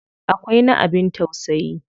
Akwai na abin tausayi.